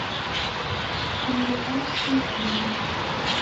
американские фильмы